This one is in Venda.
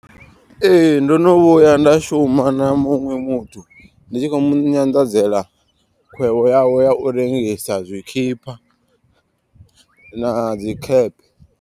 Ee ndono vhuya nda shuma na muṅwe muthu. Ndi tshi khou mu nyanḓadzela khwevho yawe ya u rengisa zwikhipa na dzi khephe.